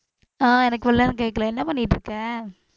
அஹ் எனக்கு இவ்ளோ நேரம் கேக்கலை. என்ன பண்ணிட்டு இருக்க